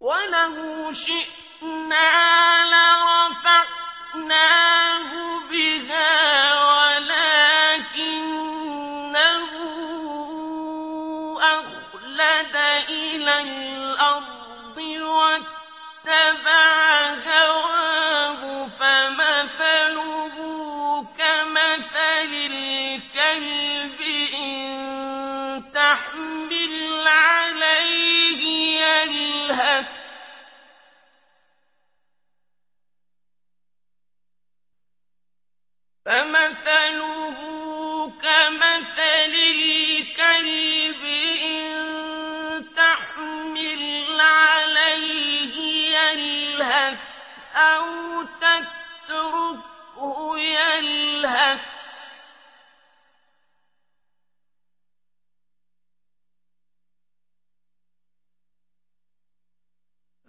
وَلَوْ شِئْنَا لَرَفَعْنَاهُ بِهَا وَلَٰكِنَّهُ أَخْلَدَ إِلَى الْأَرْضِ وَاتَّبَعَ هَوَاهُ ۚ فَمَثَلُهُ كَمَثَلِ الْكَلْبِ إِن تَحْمِلْ عَلَيْهِ يَلْهَثْ أَوْ تَتْرُكْهُ يَلْهَث ۚ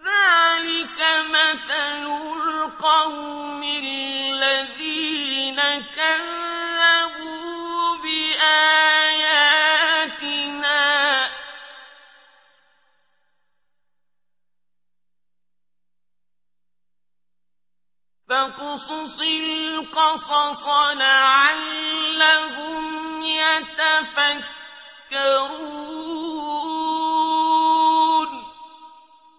ذَّٰلِكَ مَثَلُ الْقَوْمِ الَّذِينَ كَذَّبُوا بِآيَاتِنَا ۚ فَاقْصُصِ الْقَصَصَ لَعَلَّهُمْ يَتَفَكَّرُونَ